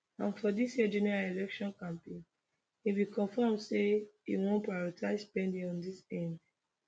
and for dis year general election campaign e bin confam say im wan prioritise spending on on di nhs